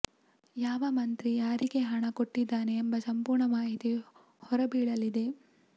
ಯಾವ ಮಂತ್ರಿ ಯಾರಿಗೆ ಹಣ ಕೊಟ್ಟಿದ್ದಾರೆ ಎಂಬ ಸಂಪೂರ್ಣ ಮಾಹಿತಿ ಹೊರ ಬೀಳಲಿದೆ